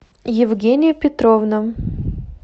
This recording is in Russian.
евгения петровна